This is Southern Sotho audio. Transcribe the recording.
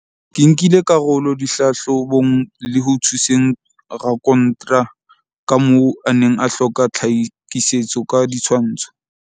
"Ke nkile karolo dihlahlo bong le ho thuseng rakontra ka moo a neng a hloka tlha kisetso ka ditshwantsho."